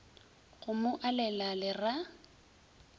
go mo alela le ra